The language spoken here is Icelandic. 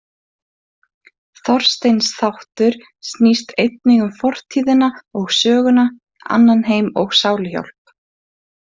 Þorsteins þáttur snýst einnig um fortíðina og söguna, annan heim og sáluhjálp.